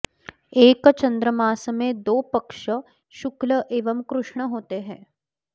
एक चन्द्रमास में दो पक्ष शुक्ल एवं कृष्ण होते हैं